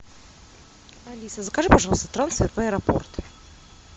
алиса закажи пожалуйста трансфер в аэропорт